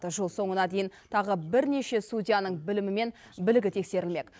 жыл соңына дейін тағы бірнеше судьяның білімі мен білігі тексерілмек